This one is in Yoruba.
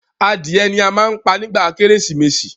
Adìẹ ni a má ń pa nígba kérésìmesì.